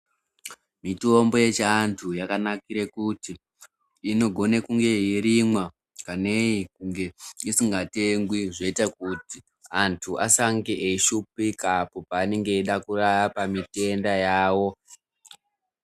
Mitombo yechi anthu yakanakire kuti, inokona kunge yeirimwa nei kunge isikatengwi. Zvoita kuti anthu asange eishupika apo peanenge eida kurapa matenda awo.